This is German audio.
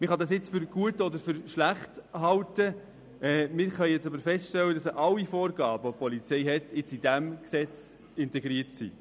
Man kann dies für gut oder schlecht halten, aber wir stellen fest, dass nun alle Vorgaben, die der Polizei gemacht werden, in diesem Gesetz integriert sind.